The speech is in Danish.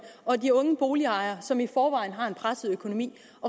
og de unge boligejere som i forvejen har en presset økonomi